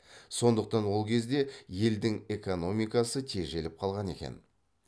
сондықтан ол кезде елдің экономикасы тежеліп қалған екен